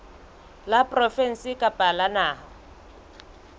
la provinse kapa la naha